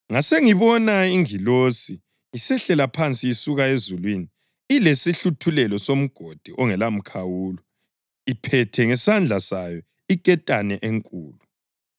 Ngasengibona ingilosi isehlela phansi isuka ezulwini ilesihluthulelo soMgodi ongelamkhawulo iphethe ngesandla sayo iketane enkulu.